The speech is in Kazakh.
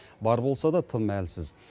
бар болса да тым әлсіз